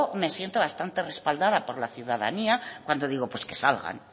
me siento bastante respaldad por la ciudadanía cuando digo que pues que salgan